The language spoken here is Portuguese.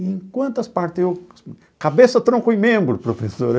Em quantas partes eu... cabeça, tronco e membro, professora.